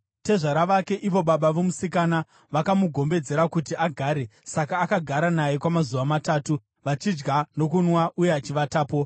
Tezvara vake, ivo baba vomusikana, vakamugombedzera kuti agare; saka akagara naye kwamazuva matatu, vachidya nokunwa uye achivatapo.